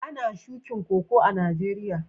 Ana shukin Koko a'Nijeriya?